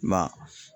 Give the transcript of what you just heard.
Ma